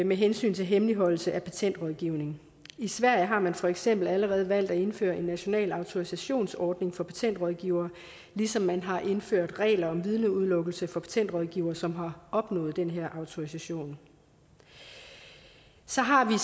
med hensyn til hemmeligholdelse af patentrådgivning i sverige har man for eksempel allerede valgt at indføre en national autorisationsordning for patentrådgivere ligesom man har indført regler om vidneudelukkelse for patentrådgivere som har opnået den her autorisation så har vi